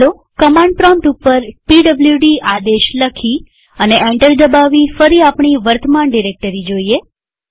ચાલો command prompt ઉપર PWD આદેશ લખી અને એન્ટર દબાવી ફરી આપણી વર્તમાન ડિરેક્ટરી જોઈએ